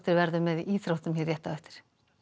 verður með í íþróttum á eftir